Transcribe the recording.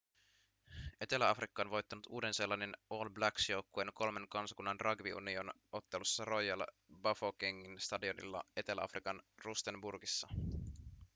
etelä-afrikka on voittanut uuden-seelannin all blacks joukkueen kolmen kansakunnan rugby union- ottelussa royal bafokengin stadionilla etelä-afrikan rustenburgissa